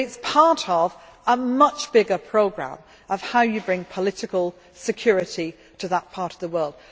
is. But it is part of a much bigger programme of how you bring political security to that part of the world.